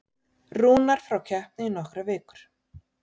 Rúnar frá keppni í nokkrar vikur